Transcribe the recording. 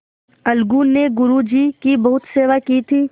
अलगू ने गुरु जी की बहुत सेवा की थी